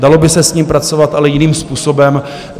Dalo by se s ním pracovat, ale jiným způsobem.